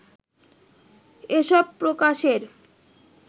এসব প্রকাশের